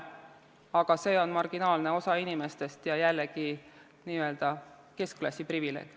Aga see on marginaalne osa inimestest ja jällegi on see n-ö keskklassi privileeg.